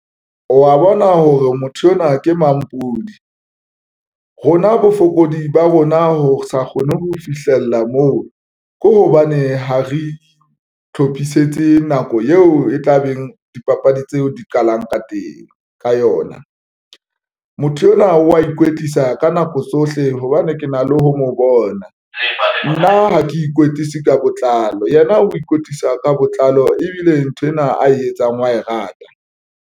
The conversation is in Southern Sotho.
Wa bona hore motho enwa ke mampodi rona bofokodi ba rona ho sa kgone ho fihlella moo, ke hobane ha re hlophisetse nako eo e tla beng dipapadi tseo di qalang ka teng ka yona motho enwa wa ikwetlisa ka nako tsohle hobane ke na le ho mo bona nna ha ke ikwetlise ka botlalo, yena o ikwetlisa ka botlalo ebile nthwena ae etsang wa e rata.